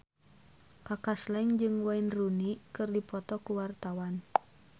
Kaka Slank jeung Wayne Rooney keur dipoto ku wartawan